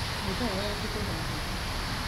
Nyũmba yao yakĩtwo na mahiga.